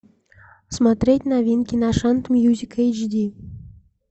смотреть новинки на шант мьюзик эйчди